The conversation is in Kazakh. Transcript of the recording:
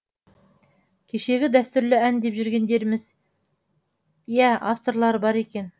кешегі дәстүрлі ән деп жүргендеріміз иә авторлары бар екен